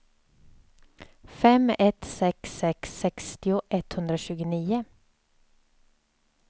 fem ett sex sex sextio etthundratjugonio